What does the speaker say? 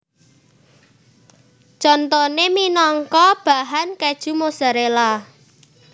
Contoné minangka bahan kèju Mozzarella